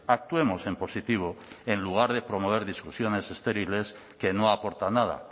actuemos en positivo en lugar de promover discusiones estériles que no aportan nada